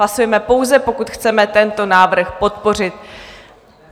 Hlasujeme pouze, pokud chceme tento návrh podpořit.